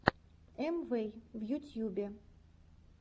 амвэй в ютьюбе